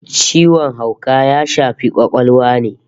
Ciwon hauka ya shafi kwakwalwa ne